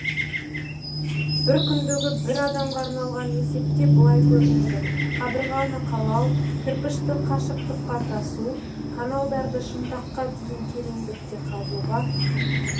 бір күндегі бір адамға арналған есепте былай көрінеді қабырғаны қалау кірпішті қашықтыққа тасу каналдарды шынтаққа дейін тереңдікте қазуға